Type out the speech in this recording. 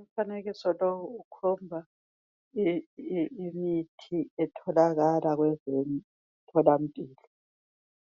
Umfanekiso lowu ukhomba imithi etholakala kwezemtholampilo